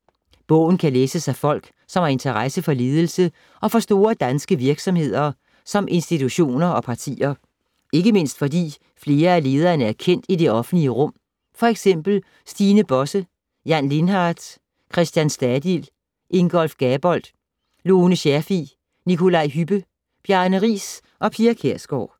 Bogen kan læses af folk, som har interesse for ledelse og for store danske virksomheder og institutioner og partier. Ikke mindst fordi flere af lederne er kendt i det offentlige rum, f.eks. Stine Bosse, Jan Lindhardt, Christian Stadil, Ingolf Gabold, Lone Scherfig, Nikolaj Hübbe, Bjarne Riis og Pia Kjærsgaard.